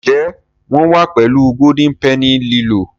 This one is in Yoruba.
Njé wón wá pèlú Golden Penny lilọ?